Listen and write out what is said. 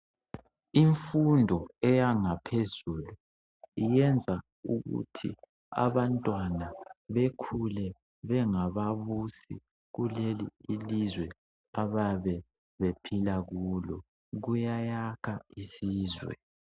Imfundo eyangaphezulu iyenza ukuthi abantwana bekhule bengababusi kuleleli ilizwe abayabe bephila kulo kuyayakha isizwe.